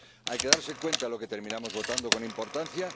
Hay que darse cuenta de lo que terminamos votando con importancia.